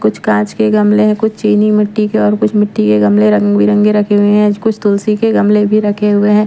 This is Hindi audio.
कुछ काँच के गमले हैं कुछ चीनी मिट्टी के और कुछ मिट्टी के गमले रंग-बिरंगे रखे हुए हैं कुछ तुलसी के गमले भी रखे हुए हैं।